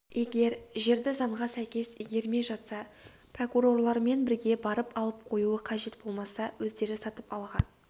егер жерді заңға сәйкес игермей жатса прокурорлармен бірге барып алып қоюы қажет болмаса өздері сатып алған